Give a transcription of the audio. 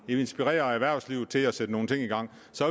ville inspirere erhvervslivet til at sætte nogle ting i gang så